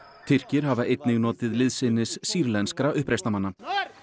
Tyrkir hafa einnig notið liðsinnis sýrlenskra uppreisnarmanna